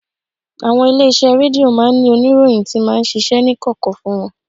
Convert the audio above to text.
Àwọn ilé-iṣẹ́ rédíò máa ń ní oníròyìn tí máa ń ṣiṣẹ́ ní kọ̀kọ̀ fún wọn